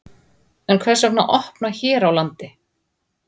En hvers vegna að opna hér á landi?